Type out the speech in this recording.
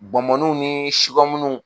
Bɔnbɔninw ni munnu.